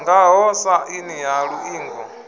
ngaho sa aini ya iuingo